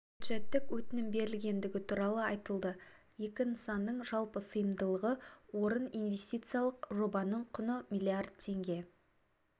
бюджеттік өтінім берілгендігі туралы айтылды екі нысанның жалпы сыйымдылығы орын инвестициялық жобаның құны миллиард теңге